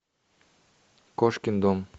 кошкин дом